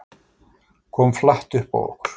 Kom flatt upp á okkur